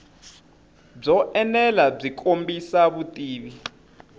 byo enela byi kombisa vutivi